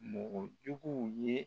Mɔgɔ juguw ye